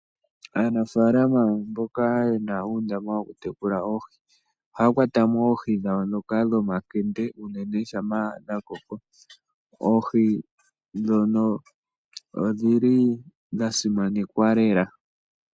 Aanafaalama mboka yena uundama woku tekula oohi, ohaya kwata mo oohi dhawo ndhoka dhomankende unene shampa dha koko. Oohi ndhono odhili dha simanekwa lela.